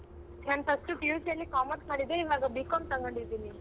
ನಾನ್ first PUC ಅಲ್ಲಿ commerce ಮಾಡಿದ್ದೆ ಈವಾಗ B.Com ತಗೊಂಡಿದ್ದೀನಿ.